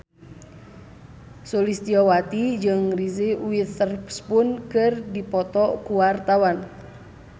Sulistyowati jeung Reese Witherspoon keur dipoto ku wartawan